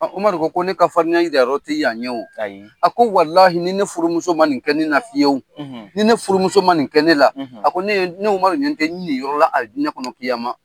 Umaru ko ko ne ka farinya jirayƆrƆ tɛ yan ye wo a ko ni ne furumuso ma nin kɛ ne na fiye ni ne furumuso ma nin kɛ ne la a ko ne Umaru ɲƐ tɛ n niyɔrɔla alijinƐ kɔnɔ